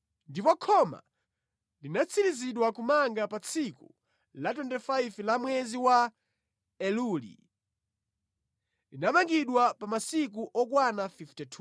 Ndipo khoma linatsirizidwa kumanga pa tsiku la 25 la mwezi wa Eluli. Linamangidwa pa masiku okwana 52.